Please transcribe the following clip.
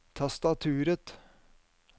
tastaturet